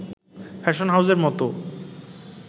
fashion হাউসের মতো